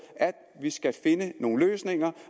at vi skal finde nogle løsninger